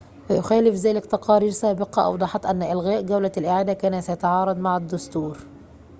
ويخالف ذلك تقارير سابقة أوضحت أن إلغاء جولة الإعادة كان سيتعارض مع الدستور